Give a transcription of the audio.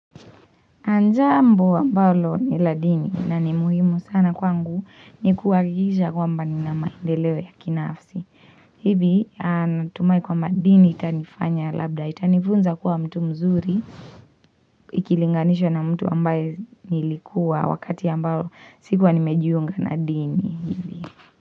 Jambo ambalo ni la dini na ni muhimu sana kwangu ni kuwa gigisha kwamba ni na maendeleo ya kinaafsi. Hivi natumai kwa mba dini itanifanya labda itanifunza kuwa mtu mzuri ikilinganishwa na mtu ambaye nilikuwa wakati ambao sikuwa nimejiunga na dini.